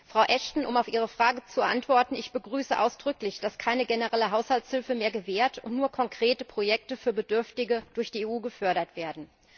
Frau Ashton, um auf Ihre Frage zu antworten Ich begrüße es ausdrücklich, dass keine generelle Haushaltshilfe mehr gewährt wird und nur konkrete Projekte für Bedürftige durch die EU gefördert werden.